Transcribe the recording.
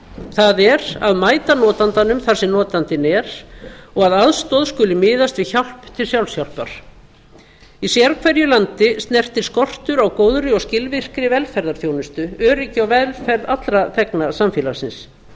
það er að mæta notandanum þar sem notandinn er og að aðstoð skuli miðast við hjálp til sjálfshjálpar í sérhverju landi snertir skortur á góðri og skilvirkri velferðarþjónustu öryggi og velferð allra þegna samfélagsins